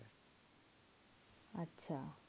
আচ্ছা